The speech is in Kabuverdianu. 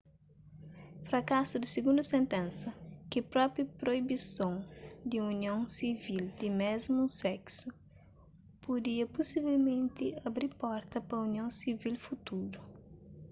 frakasu di sigundu sentensa ki propoi proibison di union sivil di mésmu seksu pudia pusivelmenti abi porta pa union sivil futuru